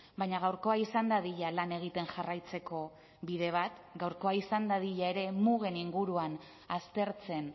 baina gaurkoa izan dadila lan egiten jarraitzeko bide bat gaurkoa izan dadila ere mugen inguruan aztertzen